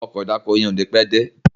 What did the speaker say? Ọkọ̀ ìdákoní yén o ní pé dé